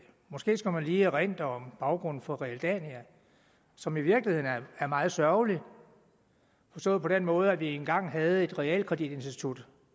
måske skal man lige erindre om baggrunden for realdania som i virkeligheden er meget sørgelig forstået på den måde at vi engang havde et realkreditinstitut